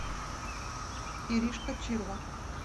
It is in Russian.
иришка чирва